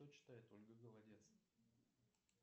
что читает ольга голодец